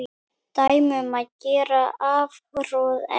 Dæmi um gera afhroð er